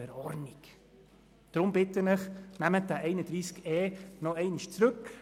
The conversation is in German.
Deshalb bitte ich Sie, nehmen Sie den Artikel 31e in die Kommission zurück.